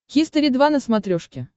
хистори два на смотрешке